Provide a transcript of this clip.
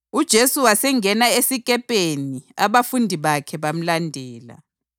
UJesu wasengena esikepeni abafundi bakhe bamlandela.